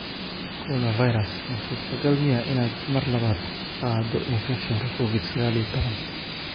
Coronavirus: Ma suurtogal miyaa inaad mar labaad qaaddo infekshanka Covid-saqal iyo tawan?